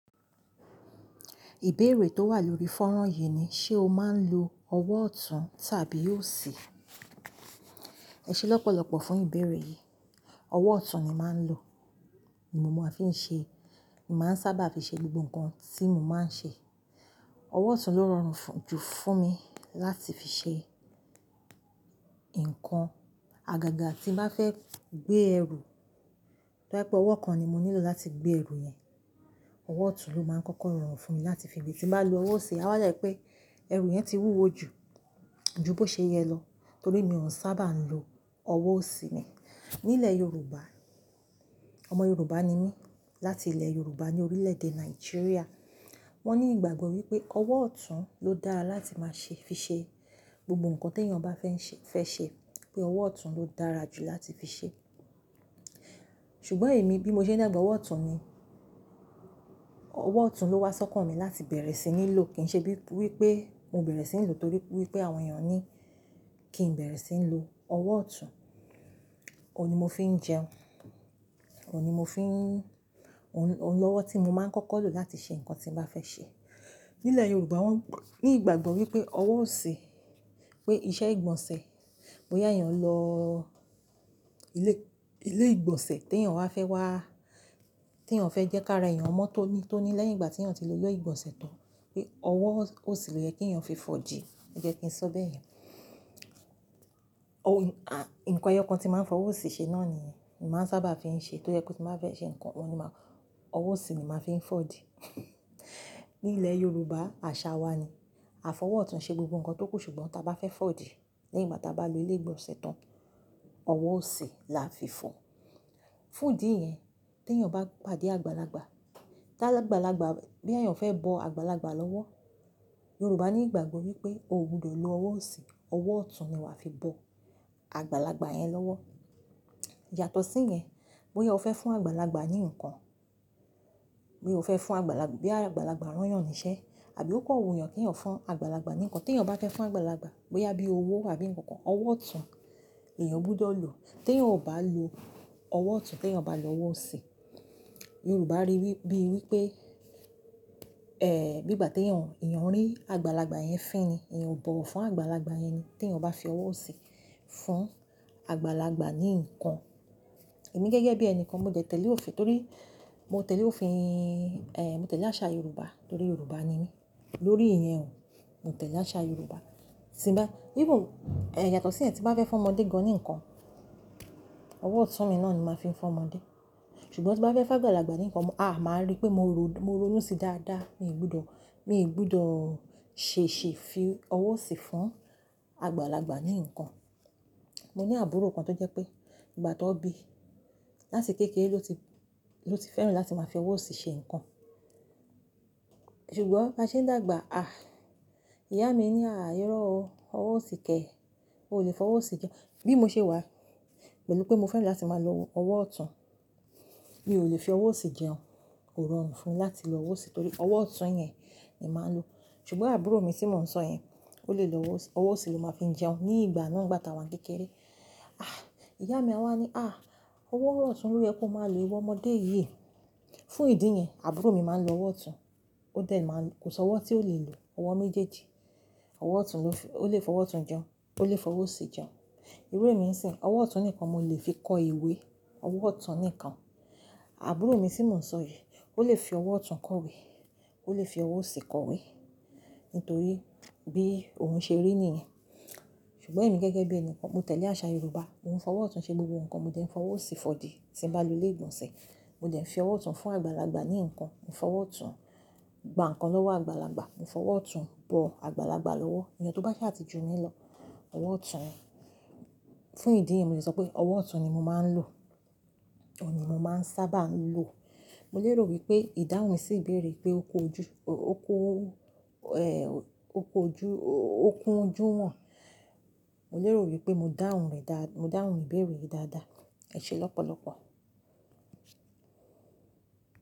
Ìbéèrè tó wà lórí fọ́nrán yìí ni, ṣe o máa ń lo ọwọ́ ọ̀tún tàbí òsì? Ẹ ṣe lọ́pọ̀lọ́pọ̀ fún ìbéèrè yìí. Ọwọ́ ọ̀tún ni màá ń lo. Ni mo máa ń fi ń ṣe, màá ń sábà fi ṣe gbogbo nǹkan tí mo máa ń ṣe. Ọwọ́ ọ̀tún ló rọrùn jù fún mi láti fi ṣe nǹkan. Àgàgà tí mo bá fẹ́ gbé ẹrù, tó jẹ́ pé ọwọ́ kan ni mo nílò láti gbé ẹrù yẹn, ọwọ́ ọ̀tún ló máa ń kọ́kọ́ rọrùn fún mi láti fi gbé. Tí mo bá lo ọwọ́ òsì, a wá yà pé ẹrù yẹn ti wúwo ju, ju bó ṣe yẹ lọ torí mi ò sábà ń lo ọwọ́ òsì mi. Nílẹ̀ Yorùbá, ọmọ Yorùbá ni mí láti ìlẹ̀ Yorùbá ní orílẹ̀èdè Nàìjíríà. Wọ́n ní ìgbàgbọ́ wípé ọwọ́ ọ̀tún ló dára láti máa ṣe, fi ṣe gbogbo nǹkan tí èèyàn bá fẹ́ ṣe, pé ọwọ́ ọ̀tún ló dára jù láti fi ṣe. Ṣùgbọ́n èmi bí mo ṣe ń dàgbà, ọwọ́ ọ̀tún ni, ọwọ́ ọ̀tún ló wá sọ́kàn mi láti bẹ̀rẹ̀ sí ní lò. Kì ń ṣe wípé mo bẹ̀rẹ̀ sí ní lò torí wípé àwọn èèyàn ní kí n bẹ̀rẹ̀ sí ní lo ọwọ́ ọ̀tún. Ó ni mo fi ń jẹun. Ohun ni mo fi ń-- òun lọ́wọ́ tí mo máa ń kọ́kọ́ lò láti ṣe nǹkan tí mo bá fẹ́ ṣe. Nílẹ̀ Yorùbá wọ́n ní ìgbàgbọ́ wípé ọwọ́ òsì pé iṣẹ́ ìgbọ̀nsẹ̀, bóyá èèyàn lọ ilé, ilé ìgbọ̀nsẹ̀ tí èèyàn wa fẹ́ wá, tí èèyàn fẹ́ jẹ́ kí ara èèyàn mọ́ tóní, tóní lẹ́yìn ìgbà tí èèyàn ti lo ilé ìgbọ̀nsẹ̀ tán, pé ọwọ́ òsì ló yẹ kí èèyàn fi fọdi. Ó jẹ́ kí n sọ bẹ́ẹ̀. Nǹkan eyokan tí màá ń fọ̀wọ̀ òsì ṣe náà nìyẹn. Ni màá ń sábà fi ń ṣe tó jẹ́ kí mo bá fẹ́ ṣe nǹkan, wọ́n ni màá-- ọwọ́ òsì ni màá fi ń fọ̀di. Nílẹ̀ Yorùbá àṣà wa ni. Àfọwọ́ ọ̀tún ń ṣe gbogbo nǹkan tó kù ṣùgbọ́n tí a bá fẹ́ fọ̀di lẹ́yìn ìgbà tí a bá lo ilé ìgbọ̀nsẹ̀ tán, ọwọ́ òsì la fi fọ̀. Fún ìdí yẹn tí èèyàn bá pàdé àgbàlagbà, tí àgbàlagbà, boya èèyàn fẹ́ bọ àgbàlagbà lọ́wọ́, Yorùbá ní ìgbàgbọ́ wípé o ò gbọdọ̀ lo ọwọ́ òsì, ọwọ́ ọ̀tún ni wàá fi bọ àgbàlagbà yẹn lọ́wọ́. Yàtọ̀ sí yẹn, bóyá o fẹ́ fún àgbàlagbà ní nǹkan, boya o fẹ́ fún àgbàlagbà, boya àgbàlagbà rán èèyàn níṣẹ́ àbí ó kan wu èèyàn kí èèyàn fún àgbàlagbà ní nǹkan, tí èèyàn bá fẹ́ fún àgbàlagbà, bóyá bí owó àbí nǹkan kan, ọwọ́ ọ̀tún nièèyàn gbúdọ̀ lò. Tí èèyàn ò bá lo ọwọ́ ọ̀tún, tí èèyàn bá lo ọwọ́ òsì, Yorùbá rí bíi wípé, bí ìgbà tí èèyàn, èèyàn rí àgbàlagbà yẹn fín ni, èèyàn o bọ̀wọ̀ fún àgbàlagbà yẹn ni tí èèyàn bá fi ọwọ́ òsì fún àgbàlagbà ní nǹkan. Èmi gẹ́gẹ́ bí ẹni kan mo tẹ̀lé òfin torí mo tẹ̀lé òfin, mo tẹ̀lé àṣà Yorùbá torí Yorùbá ni mí. Lórí ìyẹn o, mo tẹ̀lé àṣà Yorùbá. Yatọ̀ sí yẹn tí mo bá fẹ́ fún ọmọdé gan ní nǹkan, ọwọ́ ọ̀tún mi náà ni màá fi ń fún ọmọdé. Ṣùgbọ́n tí mo bá fẹ́ bá àgbàlagbà ní nǹkan, mo, a, màá rí pé mo ronú sí dáadáa, mi ò gbúdọ̀, mi ò gbúdọ̀ ṣèṣi fi ọwọ́ òsì fún àgbàlagbà ní nǹkan. Mo ní àbúrò kan tó jẹ́ pé ìgbà tan bíi, láti kéékèé ló ti, ló ti fẹ́ràn láti máa fi ọwọ́ òsì ṣe nǹkan. Ṣùgbọ́n bí a ṣe ń dàgbà, a, ìyá mi ní, "à, irọ́ o, ọwọ́ òsì kẹ̀, o lè fọwọ́ òsì jẹun." Bí mo ṣe wà pẹ̀lú pé mo fẹ́ràn láti máa lo ọwọ́ ọ̀tún, mi ò lè fi ọwọ́ òsì jẹun. Kò rọrùn fún mi láti lo ọwọ́ òsì torí ọwọ́ ọ̀tún yẹn ni màá ń lo. Ṣùgbọ́n àbúrò mi tí mò ń sọ yẹn, ó lè lo ọwọ́ òsì, ọwọ́ òsì ló máa ń fi jẹun ní ìgbà náà nígbà tá a wá kéékèé. A, ìyá mi wá ní, "a, ọwọ́ ọ̀tún ló yẹ kó máa lè wo ọmọdé yìí." Fún ìdí yẹn, àbúrò mi máa ń lo ọwọ́ ọ̀tún. Ó dẹ̀ máa ń, kò sọ ọwọ́ tí ó lè lò. Ọwọ́ méjèèjì. Ọwọ́ ọ̀tún ló fi, ó lè fọwọ́ ọ̀tún jẹun, ó lè fọwọ́ òsì jẹun. Irú èmi ń ṣin, ọwọ́ ọ̀tún nìkan mo lè fi kọ ìwé. Ọwọ́ ọ̀tún nìkan. Àbúrò mi tí mò ń sọ yìí, ó lè fi ọwọ́ ọ̀tún kọ ìwé, ó lè fi ọwọ́ òsì kọ ìwé nítorí bí òun ṣe rí nìyẹn. Ṣùgbọ́n èmi gẹ́gẹ́ bí ẹni kan, mo tẹ̀lé àṣà Yorùbá. Mo ń fọwọ́ ọ̀tún ṣe gbogbo nǹkan, mo dẹ̀ ń fọwọ́ òsì fọ̀di tí mo bá lo ilé ìgbọ̀nsẹ̀. Mo dẹ̀ fi ọwọ́ ọ̀tún fún àgbàlagbà ní nǹkan. Mo fọwọ́ ọ̀tún gba nǹkan lọ́wọ́ àgbàlagbà. Mo fọwọ́ ọ̀tún bọ àgbàlagbà lọ́wọ́. Eeyẹn tó bá sá tí ju mi lọ̀. Ọwọ́ ọ̀tún. Fún ìdí yẹn mo lè sọ pé ọwọ́ ọ̀tún ni mo máa ń lò. Ó ni mo máa ń sábà ń lò. Mo lè rò wípé ìdáhùn sì ìbéèrè pé ó kun ojuwon. Mo lè rò wípé mo dáhùn rẹ̀ dá, mo dáhùn ìbéèrè yìí dáadáa. Ẹ ṣe lọ́pọ̀lọ́pọ̀.